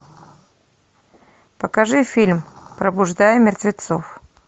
покажи фильм пробуждая мертвецов